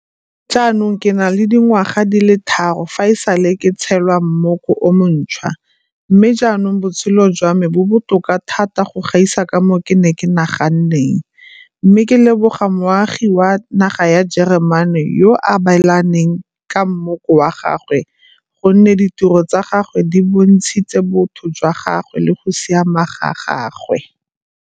Jaanong ke na le dingwaga di le tharo fa e sale ke tshelwa mmoko o montšhwa mme jaanong botshelo jwa me bo botoka thata go gaisa ka moo ke neng ke nagana, mme ke leboga moagi wa naga ya Jeremane yo a abelaneng ka mmoko wa gagwe gonne ditiro tsa gagwe di bontshitse botho jwa gagwe le go siama ga gagwe.